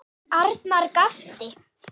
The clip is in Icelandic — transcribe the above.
Arnar gapti.